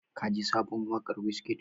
Ka ji sabon waƙar Wizkid?